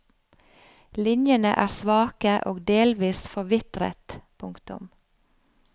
Linjene er svake og delvis forvitret. punktum